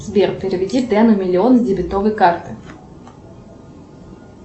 сбер переведи дену миллион с дебетовой карты